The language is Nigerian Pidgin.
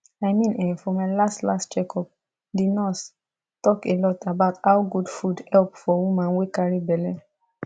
i mean[um]for my last last check up the nurse talk a lot about how good food help for woman wey carry belle